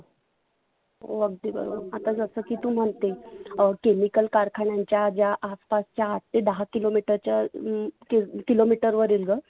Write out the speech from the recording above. हो अगदी बरोबर आता जसं की तु म्हणते अं chemical कारखाण्याच्या ज्या आसपासच्या आठ ते दहा किलो मिटरच्या अं किलो मिटर वरिल ग